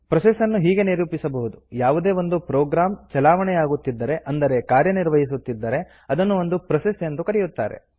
process ನ್ನು ಹೀಗೆ ನಿರೂಪಿಸಬಹುದು ಯಾವುದೇ ಒಂದು ಪ್ರೊಗ್ರಾಮ್ ಚಲಾವಣೆಯಾಗುತ್ತಿದ್ದರೆ ಅಂದರೆ ಕಾರ್ಯವಹಿಸುತ್ತಿದ್ದರೆ ಅದನ್ನು ಒಂದು ಪ್ರೋಸೆಸ್ ಎಂದು ಕರೆಯುತ್ತಾರೆ